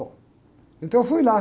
Bom, então eu fui lá.